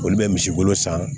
Olu bɛ misi wolo san